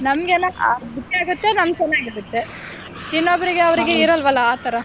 ನಮ್ಮಗೆನ ಆಗುತ್ತೆ ಇನ್ನೊಬರಿಗೆ ಅವ್ರಿಗೆ ಇರೋಲ್ವಲ್ಲ ಆತರ.